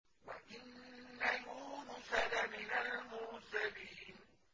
وَإِنَّ يُونُسَ لَمِنَ الْمُرْسَلِينَ